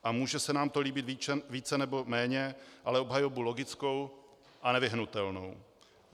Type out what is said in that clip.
A může se nám to líbit více nebo méně, ale obhajobu logickou a nevyhnutelnou.